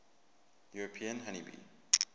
european honey bee